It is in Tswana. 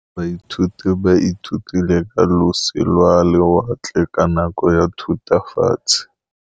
Baithuti ba ithutile ka losi lwa lewatle ka nako ya Thutafatshe.